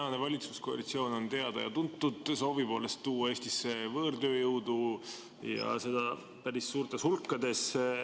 Tänane valitsuskoalitsioon on teada ja tuntud soovi poolest tuua Eestisse võõrtööjõudu, ja seda päris suurtes hulkades.